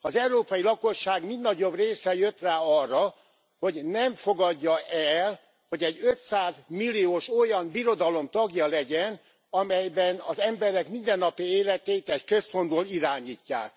Az európai lakosság mind nagyobb része jött rá arra, hogy nem fogadja el, hogy egy 500 milliós olyan birodalom tagja legyen, amelyben az emberek mindennapi életét egy központból irányítják.